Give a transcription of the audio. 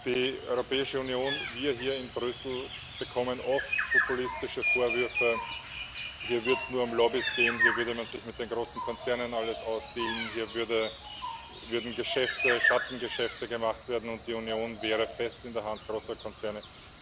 Die Europäische Union, wir hier in Brüssel, bekommen oft populistische Vorwürfe, hier würde es nur um Lobbys gehen, hier würde man sich mit den großen Konzernen alles aushandeln, hier würden Schattengeschäfte gemacht und die Union wäre fest in der Hand großer Konzerne.